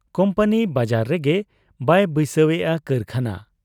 Company ᱵᱟᱡᱟᱨ ᱨᱮᱜᱮ ᱵᱟᱭ ᱵᱟᱹᱭᱥᱟᱹᱣᱮᱜ ᱟ ᱠᱟᱹᱨᱠᱷᱟᱱᱟ ᱾